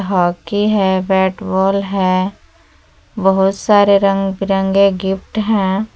Hockey है bat ball है बहुत सारे रंग बिरंगे गिफ्ट हैं।